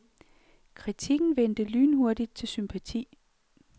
Kritikken vendte lynhurtigt til sympati.